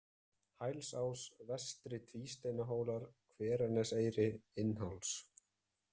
Hælsás, Vestri-Tvísteinahólar, Hveraneseyri, Innháls